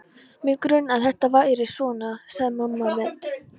Mig grunaði að þetta færi svona sagði mamma mædd.